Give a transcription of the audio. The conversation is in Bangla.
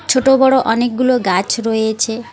ছোট বড় অনেকগুলো গাছ রয়েছে।